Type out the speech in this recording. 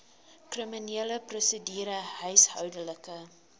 kriminele prosedure huishoudelike